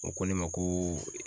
O ko ne ma ko